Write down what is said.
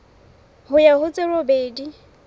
ho ya ho tse robedi